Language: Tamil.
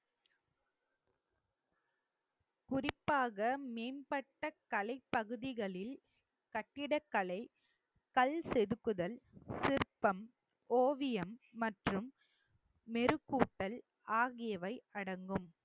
குறிப்பாக மேம்பட்ட கலைப் பகுதிகளில் கட்டிடக்கலை கல் செதுக்குதல் சிற்பம், ஓவியம் மற்றும் மெருகூட்டல் ஆகியவை அடங்கும்